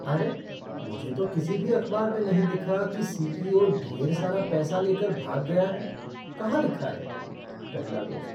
अरे, मुझे तो किसी भी अखबार में नहीं दिखा कि सीईओ ढेर सारा पैसा लेकर भाग गया है। कहाँ लिखा है? पहला दोस्त